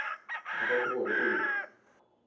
bothata ke gore o be